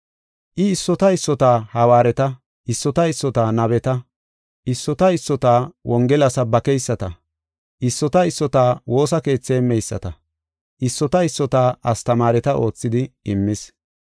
I issota issota hawaareta, issota issota nabeta, issota issota Wongela sabaaketa, issota issota woosa keethi heemmeyisata, issota issota astamaareta oothidi immis.